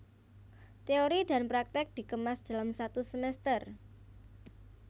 Teori dan praktek dikemas dalam satu semester